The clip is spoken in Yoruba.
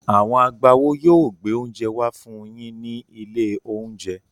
Àwọn agbáwo yóò gbé oúnjẹ wá fún yín ní ilé-oúnjẹ.